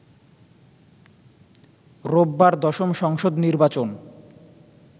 রোববার দশম সংসদ নির্বাচন